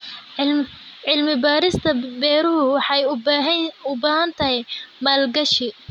Cilmi-baarista beeruhu waxay u baahan tahay maalgashi.